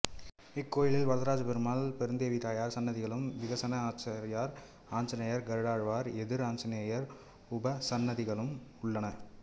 இக்கோயிலில் வரதராஜப்பெருமாள் பெருந்தேவி தாயார் சன்னதிகளும் விகனச ஆச்சாரியார் ஆஞ்சநேயர் கருடாழ்வார் எதிர் ஆஞ்சநேயர் உபசன்னதிகளும் உள்ளன